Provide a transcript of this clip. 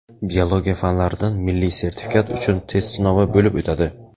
biologiya fanlaridan milliy sertifikat uchun test sinovi bo‘lib o‘tadi.